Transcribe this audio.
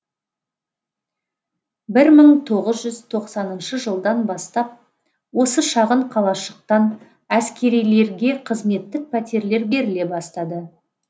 бір мың тоғыз жүз тоқсаныншы жылдан бастап осы шағын қалашықтан әскерилерге қызметтік пәтерлер беріле бастады